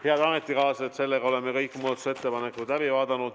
Head ametikaaslased, sellega oleme kõik muudatusettepanekud läbi vaadanud.